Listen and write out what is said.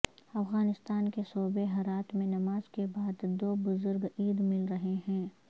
افغانستان کے صوبے ہرات میں نماز کے بعد دو بزرگ عید مل رہے ہیں